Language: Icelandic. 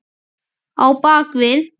Á bak við